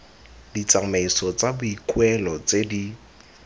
ditsamaiso tsa boikuelo tse di